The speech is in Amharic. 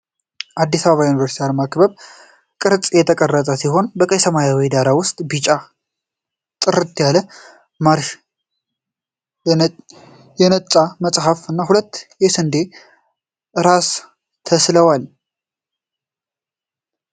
የአዲስ አበባ ዩኒቨርሲቲ አርማ በክብ ቅርጽ የተቀረጸ ነው። በቀይና በሰማያዊ ዳራ ውስጥ ቢጫ ጥርስ ያለው ማርሽ፣ የነጣ መጽሐፍ፣ እና ሁለት የስንዴ ራስ ተሥለዋል።